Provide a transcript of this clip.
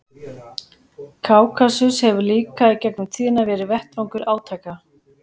Kákasus hefur líka í gegnum tíðina verið vettvangur átaka.